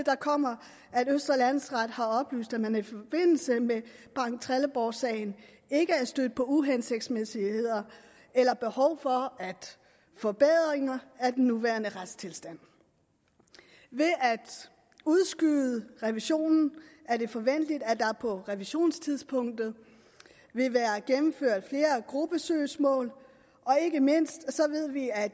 kommer at østre landsret har oplyst at man i forbindelse med banktrelleborgsagen ikke er stødt på uhensigtsmæssigheder eller behov for forbedringer af den nuværende retstilstand ved at udskyde revisionen er det forventeligt at der på revisionstidspunktet vil være gennemført flere gruppesøgsmål og ikke mindst ved vi at